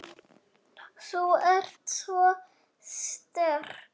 Þú ert svo sterk.